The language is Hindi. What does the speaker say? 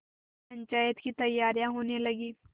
पंचायत की तैयारियाँ होने लगीं